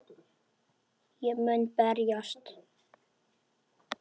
Ég mun berjast